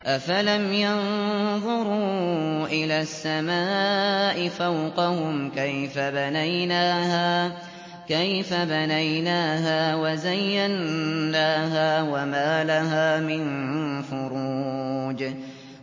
أَفَلَمْ يَنظُرُوا إِلَى السَّمَاءِ فَوْقَهُمْ كَيْفَ بَنَيْنَاهَا وَزَيَّنَّاهَا وَمَا لَهَا مِن فُرُوجٍ